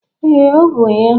Ee, ọ bụ ya.